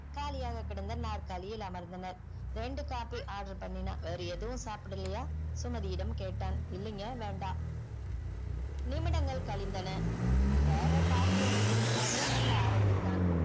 காலியாக கிடந்த நாற்காலியில் அமர்ந்தனர் ரெண்டு coffee ஆடர் பண்ணின்னா வேற ஏதுவும் சாப்டலையா சுமதி இடம் கேட்டான் இல்லைங்க நிமிடங்கள் கழிந்தன barrer coffee யே வைத்து விட்டு நகர மெல்ல ஆரம்பித்தான்